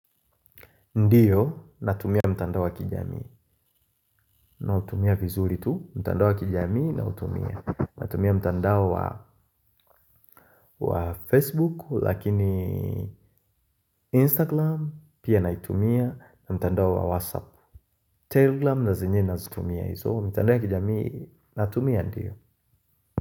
Ndio natumia mtandao wa kijamii nautumia vizuri tu mtandao wa kijamii nautumia. Natumia mtandao wa Facebook lakini Instagram pia naitumia na mtandao wa WhatsApp Telegram na zenyewe nazitumia hizo mtandao wa kijamii natumia ndio.